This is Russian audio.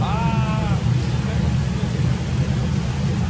аа ты в этом смысле